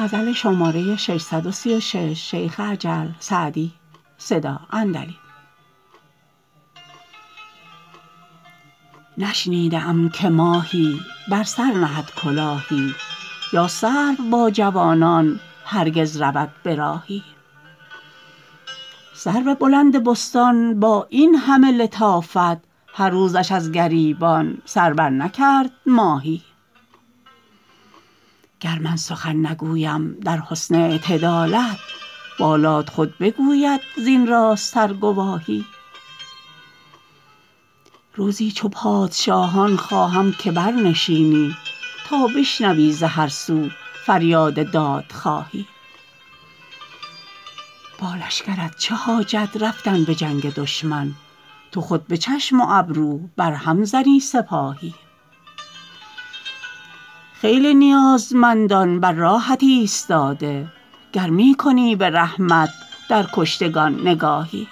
نشنیده ام که ماهی بر سر نهد کلاهی یا سرو با جوانان هرگز رود به راهی سرو بلند بستان با این همه لطافت هر روزش از گریبان سر برنکرد ماهی گر من سخن نگویم در حسن اعتدالت بالات خود بگوید زین راست تر گواهی روزی چو پادشاهان خواهم که برنشینی تا بشنوی ز هر سو فریاد دادخواهی با لشکرت چه حاجت رفتن به جنگ دشمن تو خود به چشم و ابرو بر هم زنی سپاهی خیلی نیازمندان بر راهت ایستاده گر می کنی به رحمت در کشتگان نگاهی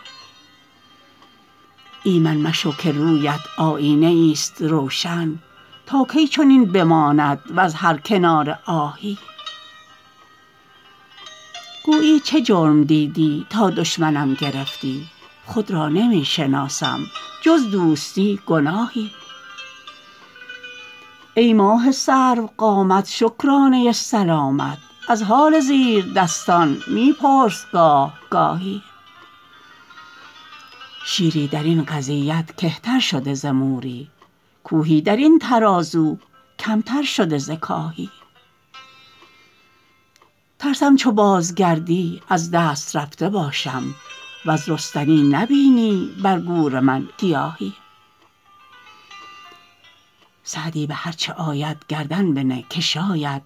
ایمن مشو که روی ات آیینه ای ست روشن تا کی چنین بماند وز هر کناره آهی گویی چه جرم دیدی تا دشمنم گرفتی خود را نمی شناسم جز دوستی گناهی ای ماه سرو قامت شکرانه سلامت از حال زیردستان می پرس گاه گاهی شیری در این قضیت کهتر شده ز موری کوهی در این ترازو کم تر شده ز کاهی ترسم چو بازگردی از دست رفته باشم وز رستنی نبینی بر گور من گیاهی سعدی به هر چه آید گردن بنه که شاید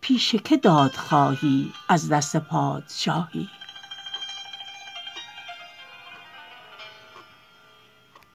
پیش که داد خواهی از دست پادشاهی